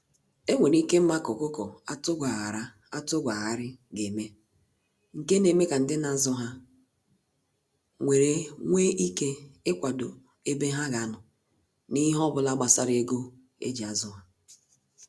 Enwere ike ima ka ọkụkọ atụ gwa ghara atụ gwa ghari ga eme, nke na eme ka ndị na azụ ha nwere nwe ike ikwado ebe ha ga anọ na ihe obula gbasara ego eji azụ ha.